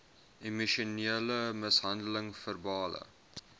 emosionele mishandeling verbale